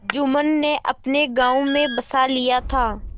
जुम्मन ने अपने गाँव में बसा लिया था